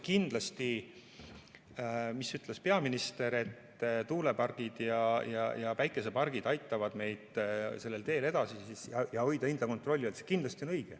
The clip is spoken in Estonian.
Kindlasti see, mida ütles peaminister, et tuulepargid ja päikesepargid aitavad meid sellel teel edasi ja aitavad hoida hinda kontrolli all, on õige.